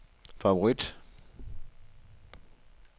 favorit